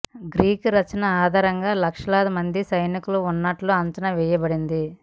Greek రచనల ఆధారంగా లక్షలాది మంది సైనికులు ఉన్నట్లు అంచనా వేయబడింది